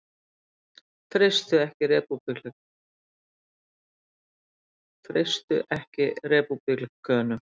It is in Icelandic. Treysta ekki repúblikönum